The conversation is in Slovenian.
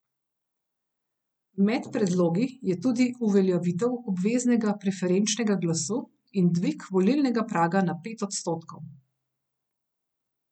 Med predlogi je tudi uveljavitev obveznega preferenčnega glasu in dvig volilnega praga na pet odstotkov.